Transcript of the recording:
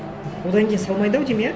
одан кейін салмайды ау деймін иә